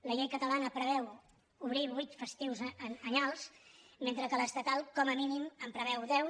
la llei catalana preveu obrir vuit festius anyals mentre que l’estatal com a mínim en preveu deu